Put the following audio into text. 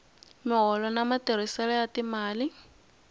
miholo na matirhiselo ya timali